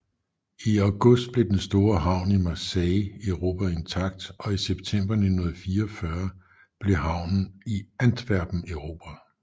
I august blev den store havn i Marseille erobret intakt og i september 1944 blev havnen i Antwerpen erobret